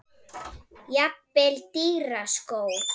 Jafnvel dýra skó?